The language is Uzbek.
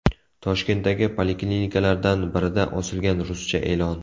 Toshkentdagi poliklinikalardan birida osilgan ruscha e’lon.